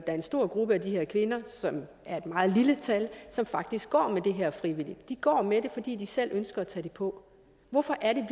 er en stor gruppe af de her kvinder som er et meget lille tal som faktisk går med det her frivilligt de går med det fordi de selv ønsker at tage det på hvorfor er det